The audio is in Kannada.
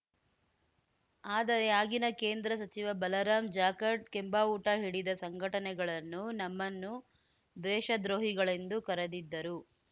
ಆದರೆ ಆಗಿನ ಕೇಂದ್ರ ಸಚಿವ ಬಲರಾಂ ಜಾಖಡ್‌ ಕೆಂಬಾವುಟ ಹಿಡಿದ ಸಂಘಟನೆಗಳನ್ನು ನಮ್ಮನ್ನು ದೇಶದ್ರೋಹಿಗಳೆಂದು ಕರೆದಿದ್ದರು